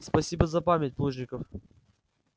спасибо за память плужников